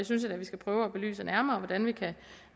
synes da vi skal prøve at belyse nærmere hvordan vi